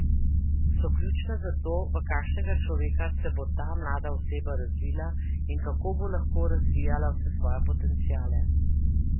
So ključna za to, v kakšnega človeka se bo ta mlada oseba razvila in kako bo lahko razvijala vse svoje potenciale.